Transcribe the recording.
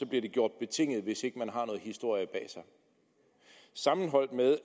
bliver den gjort betinget hvis ikke man har noget historie bag sig sammenholdt med